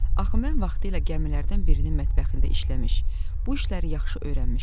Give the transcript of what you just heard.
Axı mən vaxtilə gəmilərdən birinin mətbəxində işləmiş, bu işləri yaxşı öyrənmişdim.